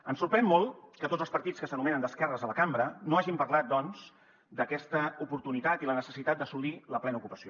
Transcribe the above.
ens sorprèn molt que tots els partits que s’anomenen d’esquerres a la cambra no hagin parlat doncs d’aquesta oportunitat i la necessitat d’assolir la plena ocupació